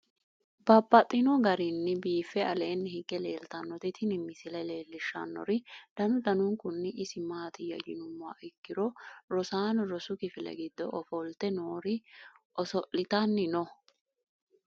Babaxxittinno garinni biiffe aleenni hige leelittannotti tinni misile lelishshanori danu danunkunni isi maattiya yinummoha ikkiro rosaanno rosu kifile giddo ofolitte noori oso'littanni noo.